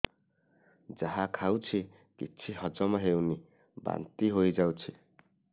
ଯାହା ଖାଉଛି କିଛି ହଜମ ହେଉନି ବାନ୍ତି ହୋଇଯାଉଛି